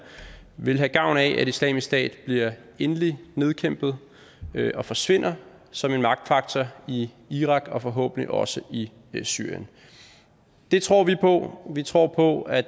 vil have gavn af at islamisk stat bliver endeligt nedkæmpet og forsvinder som en magtfaktor i irak og forhåbentlig også i syrien det tror vi på vi tror på at